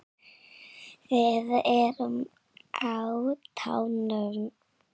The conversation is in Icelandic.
Við erum á tánum.